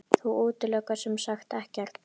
Þú útilokar semsagt ekkert?